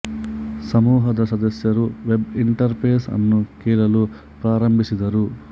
ಸಮೂಹದ ಸದಸ್ಯರು web interface ಅನ್ನು ಕೇಳಲು ಪ್ರಾರಂಭಿಸಿದರು